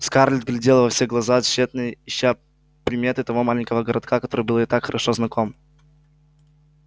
скарлетт глядела во все глаза тщетно ища приметы того маленького городка который был ей так хорошо знаком